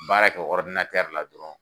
baara kɛ la dɔrɔn.